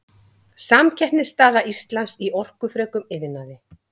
Samkeppnisstaða Íslands í orkufrekum iðnaði.